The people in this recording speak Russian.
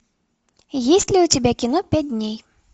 есть ли у тебя кино пять дней